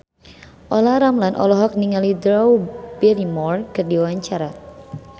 Olla Ramlan olohok ningali Drew Barrymore keur diwawancara